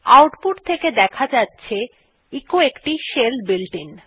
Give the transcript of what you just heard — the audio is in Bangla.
আউটপুট থেকে দেখা যাচ্ছে এচো একটি শেল বুলেটিন